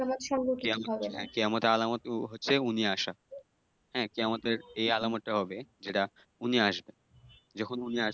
কেয়ামতের আলামত হচ্ছে উনি আসা। হ্যাঁ? কেয়ামতের এই আলামতটা হবে যেটা উনি আসবেন। যখন উনি আসবেন,